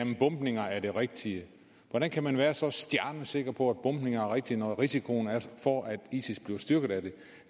bombninger er det rigtige hvordan kan man være så stjernesikker på at bombninger rigtige når risikoen for at isis bliver styrket af